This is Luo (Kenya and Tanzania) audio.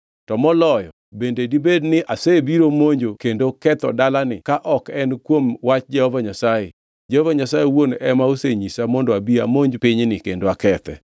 To moloyo, bende dibed ni asebiro monjo kendo ketho dalani ka ok en kuom wach Jehova Nyasaye? Jehova Nyasaye owuon ema osenyisa mondo abi amonj pinyni kendo akethe.’ ”